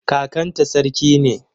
Kakanta sarki ne.